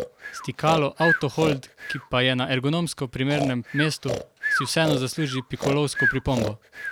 Stikalo avto hold, ki pa je na ergonomsko primernem mestu, si vseeno zasluži pikolovsko pripombo.